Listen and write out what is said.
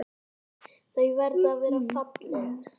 Þau verða að vera falleg.